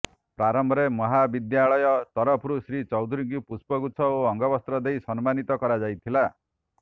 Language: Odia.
ପ୍ରାରମ୍ଭରେ ମହାବିଦ୍ୟାଳୟ ତରଫରୁ ଶ୍ରୀ ଚୌଧୁରୀଙ୍କୁ ପୁଷ୍ପଗୁଚ୍ଛ ଓ ଅଙ୍ଗବସ୍ତ୍ର ଦେଇ ସମ୍ମାନିତ କରାଯାଇଥିଲା